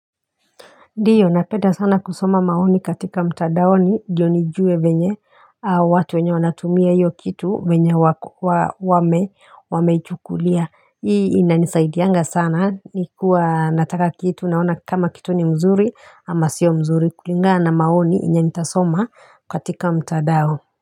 Ndio, napenda sana kusoma maoni katika mtandaoni ndiyo nijue venye watu wenye wanatumia hiyo kitu venye wame chukulia. Hii inanisaidianga sana nikiwa nataka kitu naona kama kitu ni mzuri ama sio mzuri kulingana maoni yenye nitasoma katika mtandao.